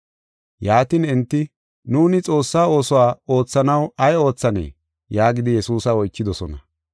Yaatin enti, “Nuuni Xoossaa oosuwa oothanaw ay oothanee?” yaagidi Yesuusa oychidosona.